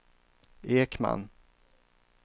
Ekman